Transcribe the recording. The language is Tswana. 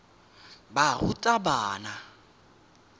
barutabana